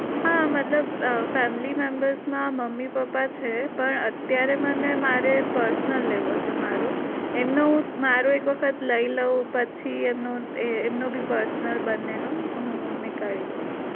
હા મતલબ અ family membr માં મમ્મી પપ્પા છે પણ અત્યારે મને મારે personal લેવો છે મારો એમનો હું મારો એક વખત લઇ લઉં પછી એમનો એમનો બી personal બને નો હું નીકાળી લઈસ